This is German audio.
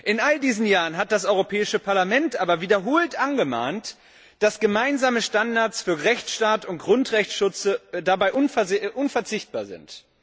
In all diesen Jahren hat das Europäische Parlament aber wiederholt angemahnt, dass gemeinsame Standards für Rechtsstaat und Grundrechtsschutz dabei unverzichtbar sind.